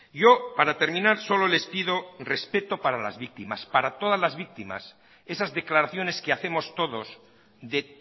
yo para terminar solo les pido respeto para las víctimas para todas las víctimas esas declaraciones que hacemos todos de